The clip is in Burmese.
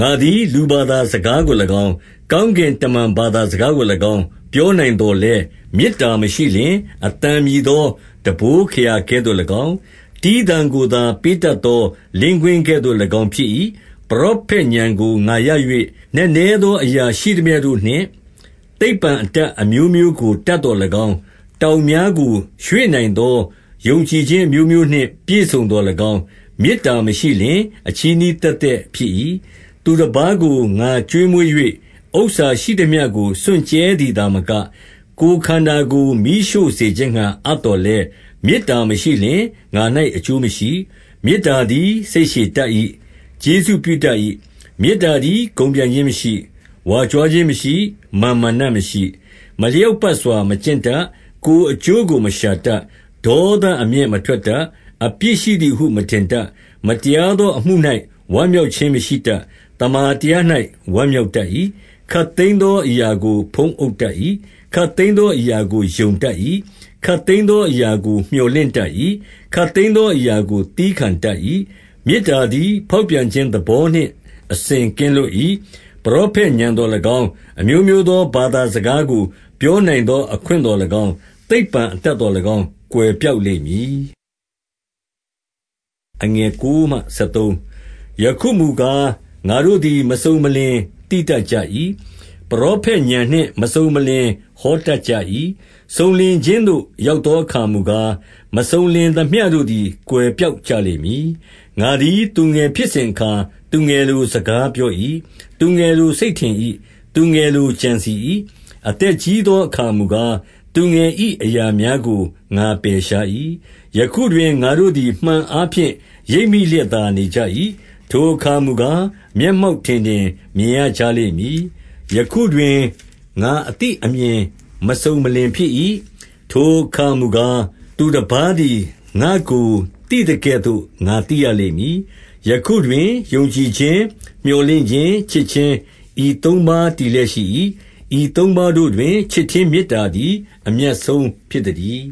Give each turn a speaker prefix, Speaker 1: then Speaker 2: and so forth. Speaker 1: ငါသည် လူဘာသာစကားကို၎င်း၊ ကောင်းကင်တမန်ဘာသာစကားကို၎င်း ပြောနိုင်သော်လည်း မေတ္တာ မရှိလျှင် အသံမြည်သော တံပိုးခရာကဲ့သို့၎င်း၊ တီးသံကိုသာ ပေးတတ်သော လင်းကွင်းကဲ့သို့၎င်း ဖြစ်၏။ 2 ပရောဖက်ဥာဏ်ကို ငါရ၍၊ နက်နဲသော အရာရှိ သမျှတို့နှင့် သိပ္ပံအတတ်အမျိုးမျိုးကို တတ်သော်၎င်း၊ တောင်များကိုရွှေ့နိုင်သော ယုံကြည်ခြင်းအမျိုးမျိုးနှင့် ပြည့်စုံသော်၎င်း၊ မေတ္တာမရှိလျှင် အချည်းနှီးသက်သက် ဖြစ်၏။ 3 သူတပါးကို ငါကျွေးမွေး၍ ဥစ္စာရှိသမျှကို စွန့်ကြဲသည်သာမက၊ ကိုယ်ခန္ဓာကို မီးရှို့စေခြင်းငှါ အပ်သော်လည်း၊ မေတ္တာမရှိလျှင်၊ ငါ၌အကျိုးမရှိ။ 4 မေတ္တာသည် စိတ်ရှည်တတ်၏။ ကျေးဇူးပြုတတ်၏။ မေတ္တာသည် ဂုဏ်ပြိုင်ခြင်းမရှိ၊ ဝါကြွားခြင်းမရှိ၊ မာန်မာနမရှိ။ 5 မလျောက်ပတ်စွာမကျင့်တတ်၊ ကိုယ်အကျိုးကို မရှာတတ်၊ ဒေါသအမျက်မထွက်တတ်၊ အပြစ်ရှိသည်ဟု မထင်တတ်၊ 6 မတရားသော အမှု၌ ဝမ်းမြောက်ခြင်းမရှိတတ်၊ သမ္မာတရား၌ ဝမ်းမြောက်တတ်၏။ 7 ခပ်သိမ်းသောအရာကို ဖုံးအုပ်တတ်၏။ ခပ်သိမ်းသောအရာကို ယုံတတ်၏။ ခပ်သိမ်းသောအရာကို မြော်လင့်တတ်၏။ ခပ်သိမ်းသောအရာကို သည်းခံတတ်၏။ 8 မေတ္တာသည် ဖေါက်ပြန်ခြင်းသဘောနှင့် အစဉ်ကင်းလွတ်၏။ ပရောဖက်ဥာဏ်သော်၎င်း၊ အမျိုးမျိုးသော ဘာသာစကားကို ပြောနိုင်သောအခွင့်သော်၎င်း၊ သိပ္ပံအတတ်သော်၎င်း၊ ကွယ်ပျောက်လိမ့်မည်။ 9 ယခုမူကား၊ ငါတို့သည် မစုံမလင် သိတတ်ကြ၏။ ပရောဖက်ဥာဏ်နှင့် မစုံမလင် ဟောတတ်ကြ၏။ 10 စုံလင်ခြင်းသို့ ရောက်သောအခါမူကား၊ မစုံလင်သမျှတို့သည် ကွယ်ပျောက်ကြလိမ့်မည်။ 11 ငါသည် သူငယ်ဖြစ်စဉ်အခါ၊ သူငယ်လိုစကားပြော၏။ သူငယ်လိုစိတ်ထင်၏။ သူငယ်လိုကြံစည်၏။ အသက်ကြီးသောအခါမူကား၊ သူငယ်၏ အရာများကို ငါပယ်ရှား၏။ 12 ယခုတွင် ငါတို့သည် မှန်အားဖြင့် ရိပ်မိလျက်သာ နေကြ၏။ ထိုအခါမူကား၊ မျက်မှောက်ထင်ထင်မြင် ရကြလိမ့်မည်။ ယခုတွင် ငါအသိအမြင်မစုံလင်ဖြစ်၏။ ထိုအခါမူကား၊ သူတပါးသည် ငါ့ကို သိသကဲ့သို့ ငါသိ ရလိမ့်မည်။ 13 ယခုတွင်ယုံကြည်ခြင်း၊ မြော်လင့်ခြင်း၊ ချစ်ခြင်း၊ ဤသုံးပါးတည်လျက် ရှိ၏။ ဤသုံးပါးတို့တွင် ချစ်ခြင်း၊ မေတ္တာသည် အမြတ်ဆုံးဖြစ်သတည်